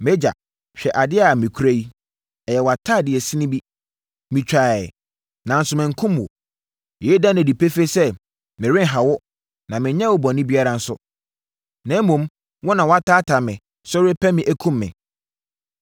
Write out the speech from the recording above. Mʼagya, hwɛ adeɛ a mekura yi. Ɛyɛ wʼatadeɛ sin bi. Metwaeɛ, nanso mankum wo. Yei da no adi pefee sɛ merenha wo, na menyɛɛ wo bɔne biara nso, na mmom, wo na woataataa me so repɛ me akum me.